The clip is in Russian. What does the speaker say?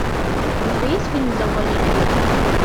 у тебя есть фильм завуалируй это